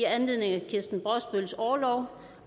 i anledning af kirsten brosbøls orlov